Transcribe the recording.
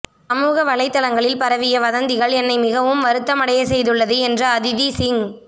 சமூக வலைத்தளங்களில் பரவிய வதந்திகள் என்னை மிகவும் வருத்தம் அடையச்செய்துள்ளது என்று அதிதி சிங்